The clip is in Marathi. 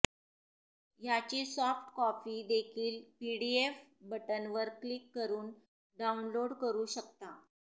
याची सॉफ्ट कॉपी देखील पीडीएफ बटनवर क्लिक करून डाउनलोड करू शकता